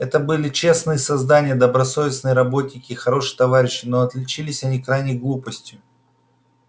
это были честные создания добросовестные работники и хорошие товарищи но отличились они крайней глупостью